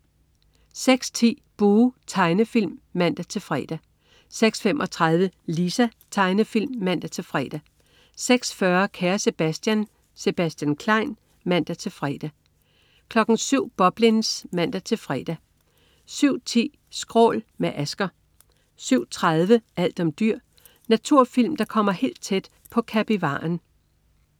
06.10 Buh! Tegnefilm (man-fre) 06.35 Lisa. Tegnefilm (man-fre) 06.40 Kære Sebastian. Sebastian Klein (man-fre) 07.00 Boblins (man-fre) 07.10 Skrål. Med Asger 07.30 Alt om dyr. Naturfilm der kommer helt tæt på kapivaren